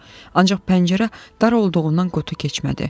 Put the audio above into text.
Ancaq pəncərə dar olduğundan qutu keçmədi.